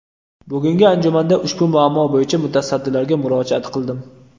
Bugungi anjumanda ushbu muammo bo‘yicha mutasaddilarga murojaat qildim.